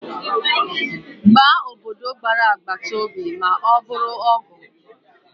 Gbaa obodo gbara agbata obi ma ọ bụrụ ọgụ